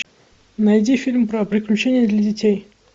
найди фильм про приключения для детей